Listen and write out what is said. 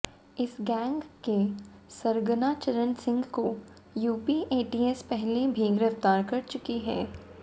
इस गैंग के सरगना चरन सिंह को यूपी एटीएस पहले भी गिरफ्तार कर चुकी है